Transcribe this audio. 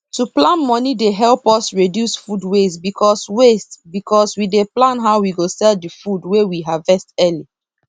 to plan moni dey help us reduce food waste because waste because we dey plan how we go sell the food wey we harvest early